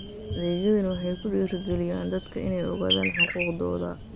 Adeegyadani waxay ku dhiirigeliyaan dadka inay ogaadaan xuquuqdooda.